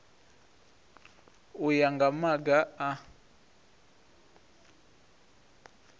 u ya nga maga a